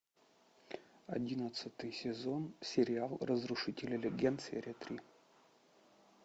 одиннадцатый сезон сериал разрушители легенд серия три